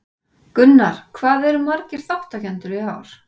Gunnar, hvað eru margir þátttakendur í ár?